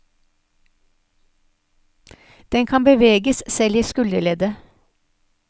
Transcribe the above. Den kan beveges selv i skulderleddet.